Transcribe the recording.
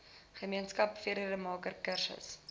gemeenskap vredemaker kursus